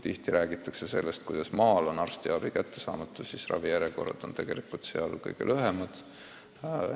Tihti räägitakse sellest, et maal on arstiabi kättesaamatu, aga ravijärjekorrad on seal kõige lühemad.